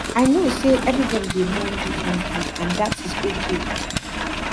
i know say everybody dey mourn differently and dat is okay